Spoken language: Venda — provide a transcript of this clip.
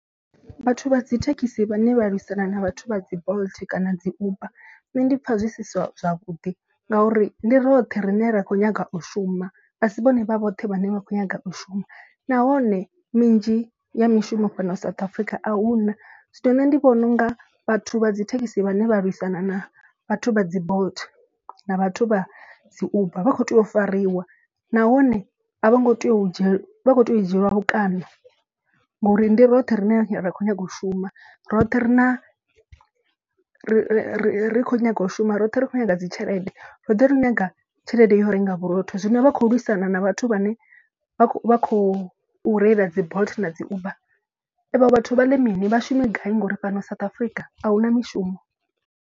Vhathu vha dzi thekhisi vhane vha lwisana na vhathu vha dzi bolt kana dzi uber nṋe ndi pfha zwi si zwavhuḓi. Ngauri ndi roṱhe rine ra kho nyaga u shuma a si vhone vha vhoṱhe vhane vha kho nyaga u shuma. Nahone minzhi ya mishumo fhano South Africa a huna zwino nṋe ndi vhona unga vhathu vha dzi thekhisi vhane vha lwisana na vhathu vha dzi bolt na vhathu vha dzi uber. Vha kho tea u fariwa nahone a vho ngo tea u dzhielwa vha kho tea u dzhielwa vhukando ngori ndi roṱhe rine ra khou nyanga u shuma. Roṱhe ri na ri khou nyaga u shuma roṱhe ri kho nyaga dzi tshelede roṱhe ri nyaga tshelede yo renga vhurotho. Zwino vha khou lwisana na vhathu vhane vha khou reila dzi bolt na dzi uber. A vho vhathu vha ḽe mini vha shume gai ngori fhano South Africa ahuna mishumo.